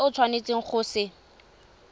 se o tshwanetseng go se